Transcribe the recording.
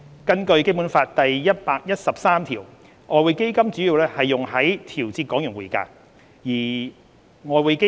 根據《基本法》第一百一十三條，外匯基金主要用於調節港元匯價。